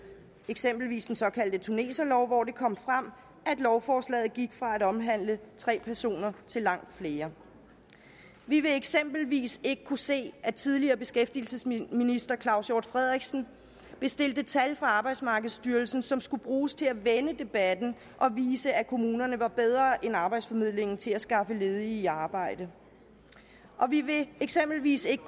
eksempelvis den såkaldte tuneserlov hvor det kom frem at lovforslaget gik fra at omhandle tre personer til langt flere vi vil eksempelvis ikke kunne se at tidligere beskæftigelsesminister claus hjort frederiksen bestilte tal fra arbejdsmarkedsstyrelsen som skulle bruges til at vende debatten og vise at kommunerne var bedre end arbejdsformidlingen til at skaffe ledige i arbejde og vi ville eksempelvis ikke